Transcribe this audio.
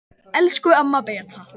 Elsku amma Beta.